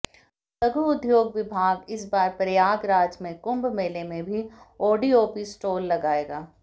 लघु उद्योग विभाग इस बार प्रयागराज में कुंभ मेले में भी ओडीओपी स्टॉल लगाएगा